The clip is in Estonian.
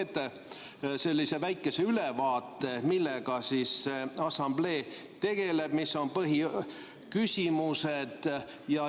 ] Võib-olla te teete väikese ülevaate, millega see assamblee tegeleb, mis on põhiküsimused.